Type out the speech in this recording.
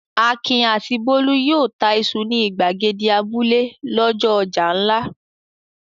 Akin àti Bólú yóò ta iṣu ní ìgbàgede abúlé lọ́jọ́ ọjà ńlá.